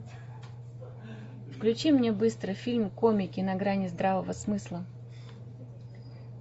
включи мне быстро фильм комики на грани здравого смысла